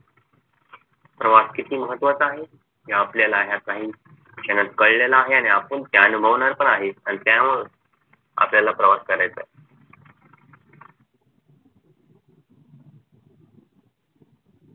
प्रवास किती महत्वाचा आहे हे आपल्याला ह्या काही क्षणात कळलेलं आहे आणि आपण ते अनुभवणार पण आहे आणि त्यामुळे आपल्याला प्रवास करायचा आहे